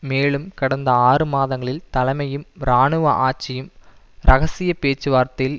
மேலும் கடந்த ஆறு மாதங்களில் தலைமையும் இராணுவ ஆட்சியும் இரகசிய பேச்சுவார்த்தையில்